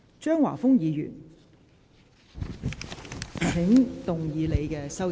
張華峰議員，請動議你的修正案。